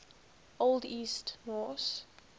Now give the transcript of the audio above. old east norse